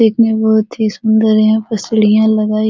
देखने में बहुत ही सुन्दर है यहाँ पे सीढ़ियाँ लगाई --